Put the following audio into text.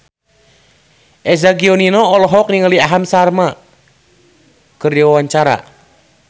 Eza Gionino olohok ningali Aham Sharma keur diwawancara